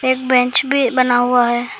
एक बेंच भी बना हुआ है।